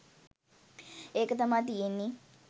එක තමා තියෙන්නෙ.